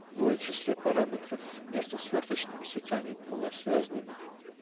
в числе параметров между свёрточными сетями и полносвязанными